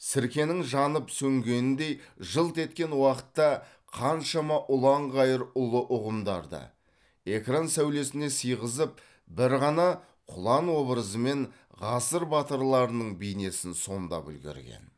сіркенің жанып сөнгеніндей жылт еткен уақытта қаншама ұлан ғайыр ұлы ұғымдарды экран сәулесіне сыйғызып бір ғана құлан образымен ғасыр батырларының бейнесін сомдап үлгерген